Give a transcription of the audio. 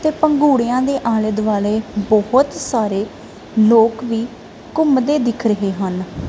ਤੇ ਭੰਗੁੜੀਆਂ ਦੇ ਆਲੇ ਦੁਆਲੇ ਬੋਹੁਤ ਸਾਰੇ ਲੋਕ ਵੀ ਘੁੰਮਦੇ ਦਿੱਖ ਰਹੇ ਹਨ।